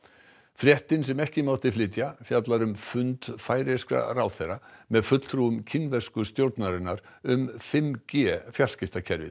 fréttin sem ekki mátti flytja fjallar um fund færeyskra ráðherra með fulltrúum kínversku stjórnarinnar um fimm g fjarskiptakerfið